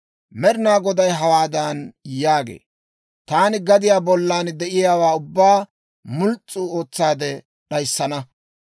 Med'inaa Goday hawaadan yaagee; «Taani gadiyaa bollan de'iyaawaa ubbaa muls's'u ootsaade d'ayissana.